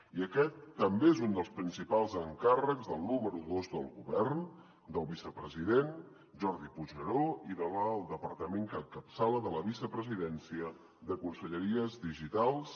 i aquest també és un dels principals encàrrecs del número dos del govern del vicepresident jordi puigneró i del departament que encapçala de la vicepresidència de conselleries digitals